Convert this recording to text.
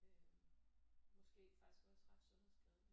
Øh måske faktisk også ret sundhedsskadeligt